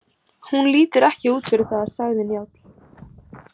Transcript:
Hún lítur ekki út fyrir það, sagði Njáll.